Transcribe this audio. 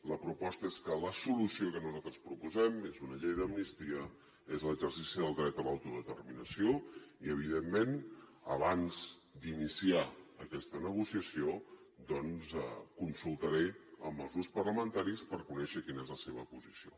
la proposta és que la solució que nosaltres proposem és una llei d’amnistia és l’exercici del dret a l’autodeterminació i evidentment abans d’iniciar aquesta negociació doncs consultaré amb els grups parlamentaris per conèixer quina és la seva posició